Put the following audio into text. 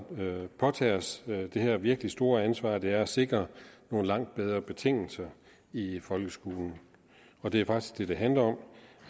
påtage os det her virkelig store ansvar som det er at sikre nogle langt bedre betingelser i folkeskolen og det er faktisk det det handler om